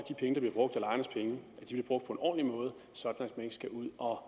det brugt på en ordentlig måde så man ikke skal ud og